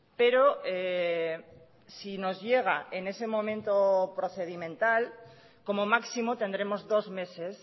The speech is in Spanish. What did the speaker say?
pero si nos llega en ese momento procedimental como máximo tendremos dos meses